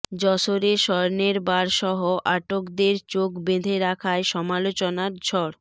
যশোরে স্বর্ণের বারসহ আটকদের চোখ বেঁধে রাখায় সমালোচনার ঝড়